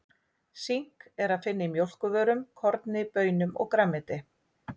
Sink er að finna í mjólkurvörum, korni, baunum og grænmeti.